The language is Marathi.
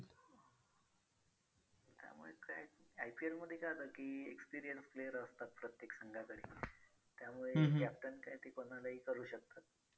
IPL मध्ये काय होतं की experience player असतात प्रत्येक संघाकडे त्यामुळे captain काय ते कोणालाही करू शकतात.